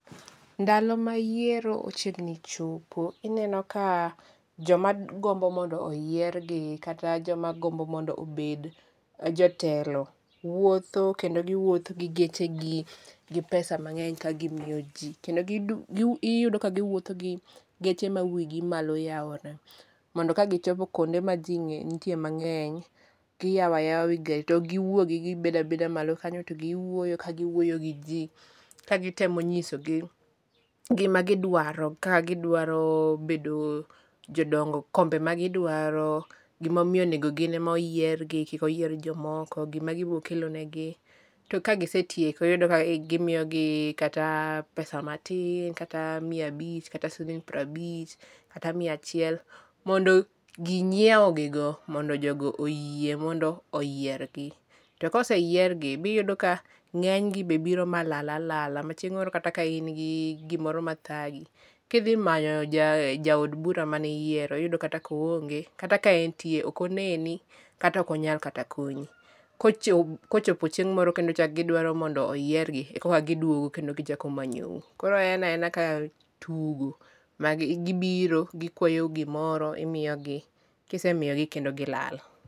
Ndalo ma yiero ochiegni chopo ineno ka joma gombo mondo oyiergi kata joma gombo mondo obed jatelo wuotho kendo giwuotho gi gechegi, gi pesa mang'eny ka gimiyo ji. Kendo iyudo ka giwuotho gi geche ma wigi malo yaore. Mondo ka gichopo kuonde ma ji ntie mang'eny, giyao ayawa wi garo to okgiwuogi. Kibeda beda malo kanyo to giwuoyo ka giwuoyo gi jii ka gitemo nyisogi gima gidwaro. Ka gidwaro bedo jodongo, kombe ma gidwaro. Gimamiyo onego gin ema oyiergi, kikoyier jomoko, gima gibokelo negi. To ka gisetieko iyudo ka gimiyogi kata pesa matin, kata mia abich, kata siling pir abich, kata mia achiel. Mondo ging'ieu gigo mondo jogo oyie mondo oyiergi. To koseyiergi be iyudo ka ng'enygi be biro malal alala. Ma chieng' moro kata ka in gi gimoro madhagi, kidhi manyo jaod bura maniyiero, iyudo kata koonge kata ka entie okoneni kata okonyal kata konyi. Kochopo chieng' moro kendo ichak giduaro mondo oyiergi, ekoka giduogo kendo kichako manyou. Koro en aena ka tugo magibiro gikwayou gimoro imiyogi, kisemiyogi kendo gilal.